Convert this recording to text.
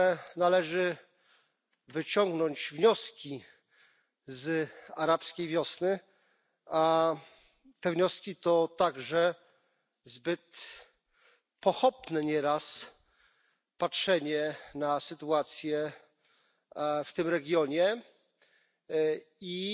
że należy wyciągnąć wnioski z arabskiej wiosny, a te wnioski to także zbyt pochopne nieraz patrzenie na sytuację w tym regionie i